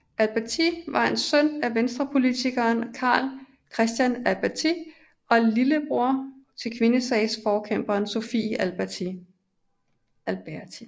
Alberti var søn af Venstrepolitikeren Carl Christian Alberti og lillebror til kvindesagsforkæmperen Sophie Alberti